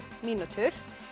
mínútur